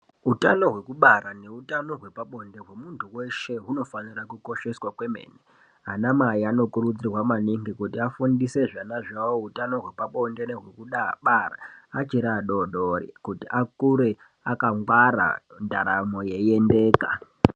Utano hwekubara neutano hwepabonde hwemunthu weshe hunofanira kukosheswa kwemene. Anamai anokurudzirwa maningi kuti afundise zvana zvavo utano hwepabonde nehwekubara achiri adoodori kuti akure akangwara ndaramo yeiendeka.